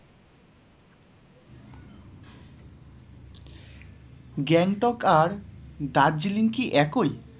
গ্যাংটক আর দার্জিলিং কি একই?